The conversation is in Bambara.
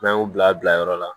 N'an y'u bila bila yɔrɔ la